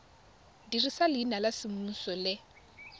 dirisa leina la semmuso le